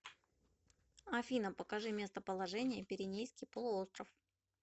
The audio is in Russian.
афина покажи местоположение пиренейский полуостров